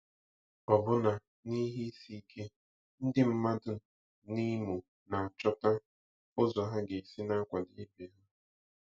Ọbụna n'ihe isi ike, ndị mmadụ n'Imo na-achọta ụzọ ha ga-esi na-akwado ibe ha.